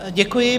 Děkuji.